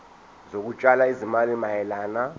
zokutshala izimali mayelana